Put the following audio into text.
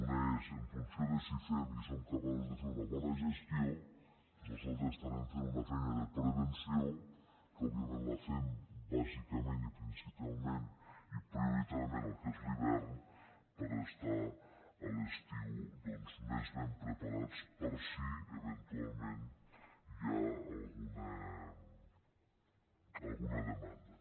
una és que en funció de si fem i si som capaços de fer una bona gestió nosaltres estarem fent una fei·na de prevenció que òbviament la fem bàsicament i principalment i prioritàriament en el que és l’hivern per estar a l’estiu doncs més ben preparats per si eventualment hi ha alguna demanda